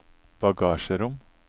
bagasjerom